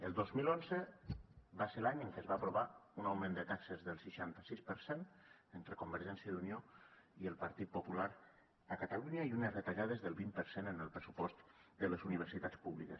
el dos mil onze va ser l’any en què es va aprovar un augment de taxes del seixanta sis per cent entre convergència i unió i el partit popular a catalunya i unes retallades del vint per cent en el pressupost de les universitats públiques